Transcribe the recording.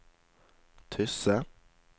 Tysse